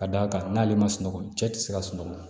Ka d'a kan n'ale ma sunɔgɔ cɛ tɛ se ka sunɔgɔ